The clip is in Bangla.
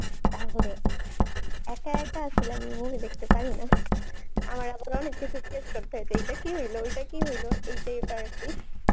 তাহলে একা একা আসলে আমি এই movie দেখতে পারি না আমার আবার অনেক কিছু জিগেস করতে হয়েছে এইটা কি হইলো ওইটা কি হইলো এইটাই আবার আরকি